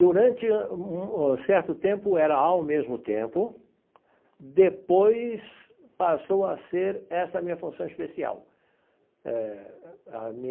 Durante um certo tempo, era ao mesmo tempo, depois passou a ser essa minha função especial eh a minha.